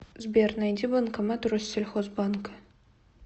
сбер найди банкомат россельхозбанка